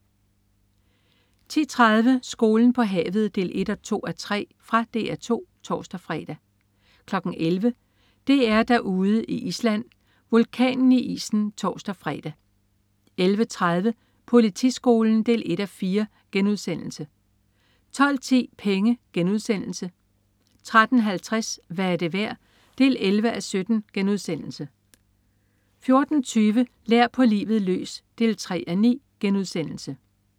10.30 Skolen på havet 1-2:3. Fra DR 2 (tors-fre) 11.00 DR-Derude i Island. Vulkanen i isen (tors-fre) 11.30 Politiskolen 1:4* 12.10 Penge* 13.50 Hvad er det værd? 11:17* 14.20 Lær på livet løs 3:9*